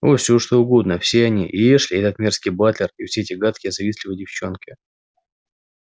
о все что угодно все они и эшли и этот мерзкий батлер и все эти гадкие завистливые девчонки